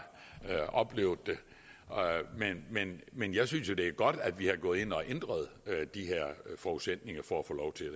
oplevet men men jeg synes det er godt at vi er gået ind og har ændret de her forudsætninger for at få lov til at